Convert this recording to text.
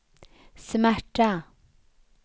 smärta